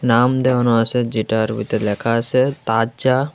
নাম দেয়ানো আসে যেটার ভেতর লেখা আসে তাজা--